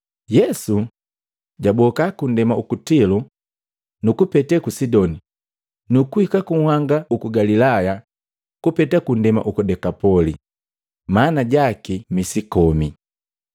Yesu jaboka kundema uku Tilo, nukupetee ku Sidoni, nu kuhika ku nhanga uku Galilaya kupete kundema uku Dekapoli maana jaki musi kome.